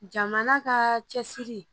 Jamana ka cɛsiri